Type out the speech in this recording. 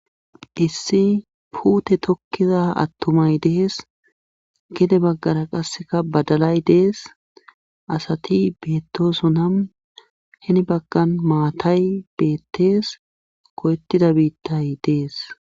Issi puute tokkiza attumay dees gede baggara qasseka badalay dees asati beettosona heni baggan maatay beettees koyettida biittay dees